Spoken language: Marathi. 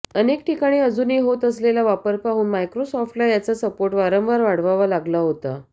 अनेक ठिकाणी अजूनही होत असलेला वापर पाहून मायक्रोसॉफ्टला याचा सपोर्ट वारंवार वाढवावा लागला होता